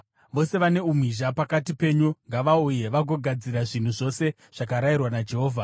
“Vose vane umhizha pakati penyu ngavauye vazogadzira zvinhu zvose zvakarayirwa naJehovha: